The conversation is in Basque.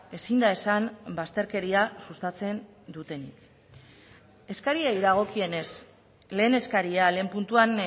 ezin da esan bazterkeria sustatzen dutenik eskariei dagokienez lehen eskaria lehen puntuan